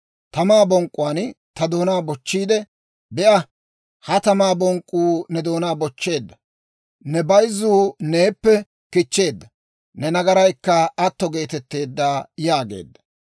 Tamaa bonk'k'uwaan ta doonaa bochchiide, «Be'a; ha tamaa bonk'k'uu ne doonaa bochcheedda; Ne bayzzuu neeppe kichcheedda; ne nagaraykka atto geetetteedda» yaageedda.